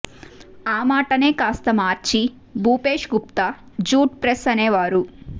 ఆ మాటనే కాస్త మార్చి భూపేశ్ గుప్తా ఝూట్ ప్రెస్ అనేవారు